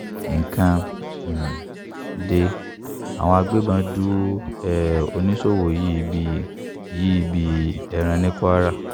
nǹkan um de àwọn agbébọn du um oníṣòwò yìí bíi yìí bíi ẹran ní kwara